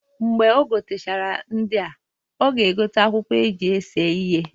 Mgbe o gotechara ndịa, ọ ga egote akwụkwọ eji ese ihe.